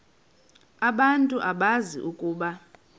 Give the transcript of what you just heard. abantu bazi ukuba